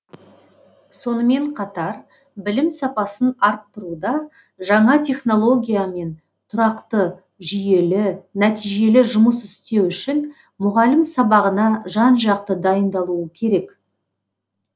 сонымен қатар білім сапасын арттыруда жаңа технологиямен тұрақты жүйелі нәтижелі жұмыс істеу үшін мұғалім сабағына жан жақты дайындалуы керек